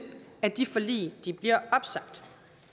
at de forlig bliver opsagt